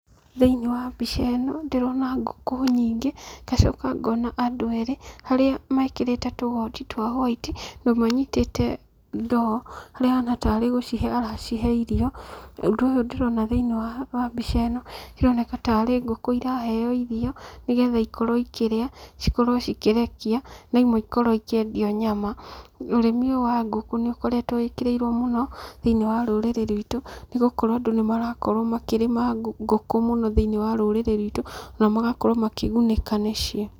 Thĩinĩ wa mbica ĩno, ndĩrona ngũkũ nyingĩ, ngacoka ngona andũ erĩ, arĩa mekĩrĩte tũgoti twa white, ũmwe anyitĩte ndoo, harĩa ahana tarĩ gũcihe aracihe irio, ũndũ ũyũ ndĩrona thĩinĩ wa, wa mbica ĩno, ĩroneka tarĩ ngũkũ iraheo irio, nĩgetha ikorũo ikĩrĩa, cikorũo cikĩrekia, na imwe ikorũo ikiendio nyama. Ũrĩmi ũyũ wa ngũkũ nĩũkoretũo wĩkĩrĩirũo mũno, thĩinĩ wa rũrĩrĩ rwitũ, nĩgũkorũo andũ nĩmarakorũo makĩrĩma ngũkũ mũno thĩinĩ wa rũrĩrĩ rwitũ, na magakorũo makĩgunĩka nĩcio.